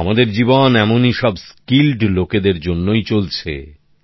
আমাদের জীবন এমনই সব স্কিলড লোকদের জন্যই চলছে